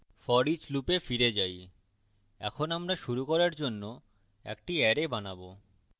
foreach loop ফিরে যাই এখন আমরা শুরু করার জন্য একটি অ্যারে বানাবো